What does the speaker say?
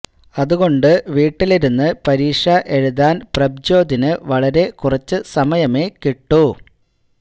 അതുകൊണ്ട് വീട്ടിലിരുന്ന് പരീക്ഷ എഴുതാന് പ്രഭ്ജ്യോതിന് വളരെ കുറച്ച് സമയമേ കിട്ടൂ